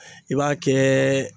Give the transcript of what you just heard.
I b'a kɛɛ